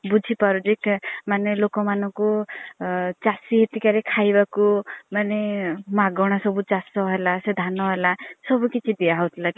ବୁଝି ପାରୁଛି ମାନେ ଲୋକ ମାନଙ୍କୁ ଚାଷୀ ହିତିକାରେ ଖାଇବାକୁ ମାନେ ମାଗଣା ସବୁ ଚାଷ ହେଲା ସେ ଧାନ ହେଲା ସବୁ କିଛି ଦିଆ ହେଉ ଥିଲା।